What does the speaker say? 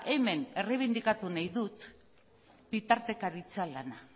hemen erreibindikatu nahi dut bitartekaritza lana